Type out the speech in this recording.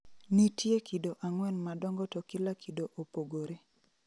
Nitie kido ang'wen madongo to kila kido opogore